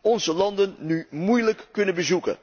onze landen nu moeilijk kunnen bezoeken.